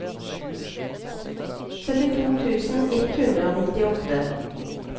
syttito tusen ett hundre og nittiåtte